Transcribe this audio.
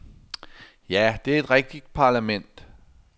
Ja, det er et rigtigt parlament.